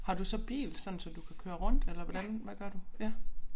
Har du så bil sådan så du kan køre rundt eller hvordan hvad gør du ja